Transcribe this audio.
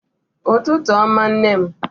Ụtụtụ ọma nne m